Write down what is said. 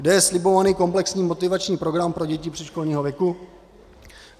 Kde je slibovaný komplexní motivační program pro děti předškolního věku?